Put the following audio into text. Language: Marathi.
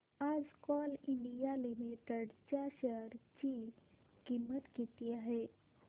आज कोल इंडिया लिमिटेड च्या शेअर ची किंमत किती आहे